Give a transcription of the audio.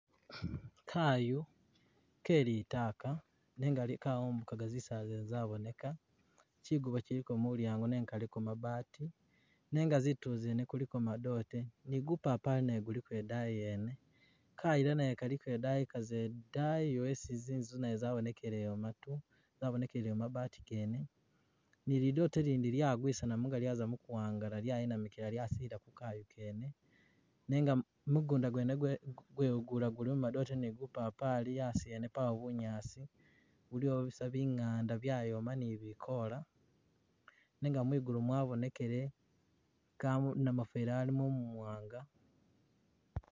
Kayu kelitaaka nenga li kawubugaka zisaala zene zaboneka chigubo chiliko mulyango nenga kaliko mabati nenga zituulo zene kuliko madoote ne gupapali guliko e'daayi yene, kayiila naye kaliko dayi ka'ze dayi awo ezi zinzu nazo zabonekele ewo matu, zabonekele mabati gene ni lidoote lindi lyagwisanamu lyaza muguwangala lyayinamikilamu lyayidila Ku kayu kene, nenga mugunda gwene gwe gwegula gulimo madoote ni bupapali a'asi ene pawo bunyaasi buliwo busa bingaanda byayooma ni bikoola nenga mwigulu mwabonekele kamu namufeli a'limo muwaanga